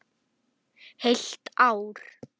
Heilt ár.